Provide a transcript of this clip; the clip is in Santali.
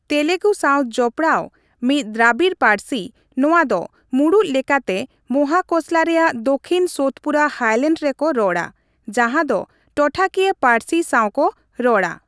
ᱛᱮᱞᱮᱜᱩ ᱥᱟᱶ ᱡᱚᱯᱚᱲᱟᱣ ᱢᱤᱫ ᱫᱨᱟᱵᱤᱲ ᱯᱟᱹᱨᱥᱤ, ᱱᱚᱣᱟ ᱫᱚ ᱢᱩᱬᱩᱛ ᱞᱮᱠᱟᱛᱮ ᱢᱚᱦᱟᱠᱚᱥᱞᱟ ᱨᱮᱭᱟᱜ ᱫᱚᱠᱷᱤᱱ ᱥᱳᱛᱯᱩᱨᱟ ᱦᱟᱭᱞᱮᱱᱰᱥ ᱨᱮᱠᱚ ᱨᱚᱲᱟ, ᱡᱟᱦᱟᱸ ᱫᱚ ᱴᱚᱴᱷᱟᱠᱤᱭᱟᱹ ᱯᱟᱹᱨᱥᱤ ᱥᱟᱶ ᱠᱚ ᱨᱚᱲᱟ ᱾